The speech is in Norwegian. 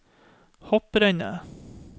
hopprennet